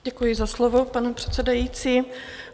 Děkuji za slovo, pane předsedající.